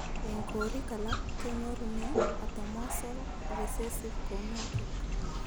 Eng koriik alaak, kenyorunee atomosal risesive kounotok.